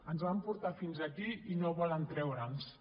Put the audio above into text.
ens van portar fins aquí i no volen treure’ns en